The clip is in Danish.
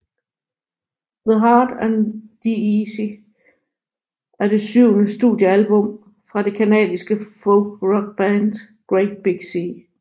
The Hard and The Easy er det syvende studiealbum fra det canadiske folkrockband Great Big Sea